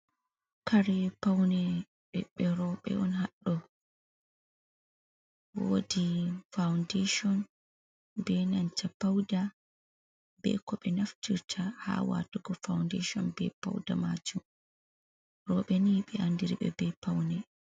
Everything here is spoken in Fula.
Kare paune ɓiɓɓe roɓe on hado, wodi faudeisin be nanta pauda be ko be naftirta ha waatugo faudasin be pauda maajun; robe ni be andiribe be paune.